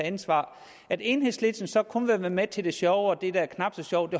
ansvar at enhedslisten så kun vil være med til det sjove og det der er knap så sjovt